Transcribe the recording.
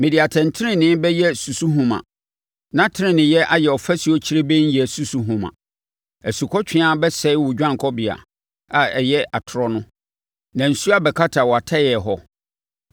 Mede atɛntenenee bɛyɛ susuhoma na teneneeyɛ ayɛ ɔfasuo kyirebennyɛ susuhoma. Asukɔtweaa bɛsɛe wo dwanekɔbea, a ɛyɛ atorɔ no, na nsuo abɛkata wʼatɛeɛ hɔ.